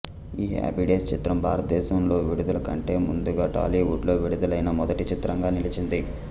ఈ Happy Days చిత్రం భారతదేశంలో విడుదల కంటే ముందుగా టాలీవుడ్లో విడుదలైన మొదటి చిత్రంగా నిలిచింది